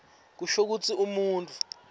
kusho kutsi umuntfu